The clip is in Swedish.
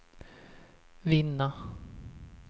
vinna